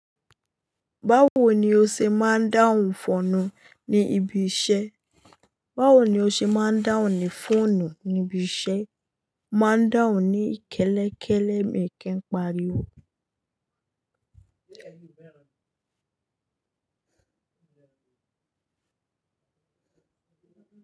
Báwo ni o ṣe máa ń dáhùn fònù ní ibi iṣẹ́? Báwo ni o ṣe máa ń dáhùn ní fóònù ní ibi iṣẹ́? Máa ń dáhùn ní kẹ́lẹ́kẹ́lẹ́, mi kii pariwo.